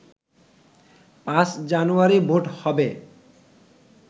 ৫ জানুয়ারি ভোট হবে